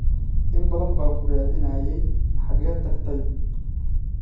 In badan baan ku raadinayey, xageed tagtay?